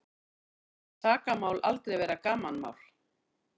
Segir sakamál aldrei vera gamanmál